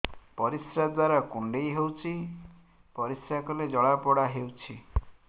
ପରିଶ୍ରା ଦ୍ୱାର କୁଣ୍ଡେଇ ହେଉଚି ପରିଶ୍ରା କଲେ ଜଳାପୋଡା ହେଉଛି